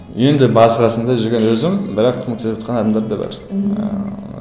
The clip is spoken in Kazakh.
енді басы қасында жүрген өзім бірақ көмектесіп жатқан адамдар да бар мхм ыыы